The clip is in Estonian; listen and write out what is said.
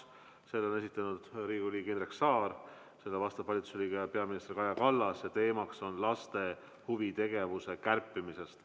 Selle on esitanud Riigikogu liige Indrek Saar, vastab peaminister Kaja Kallas ja teemaks on laste huvitegevuse kärpimine.